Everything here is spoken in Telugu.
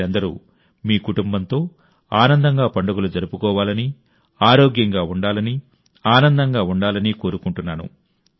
మీరందరూ మీ కుటుంబంతో ఆనందంగా పండుగలు జరుపుకోవాలని ఆరోగ్యంగా ఉండాలని ఆనందంగా ఉండాలని కోరుకుంటున్నాను